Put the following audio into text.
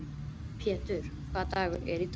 Pjetur, hvaða dagur er í dag?